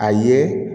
A ye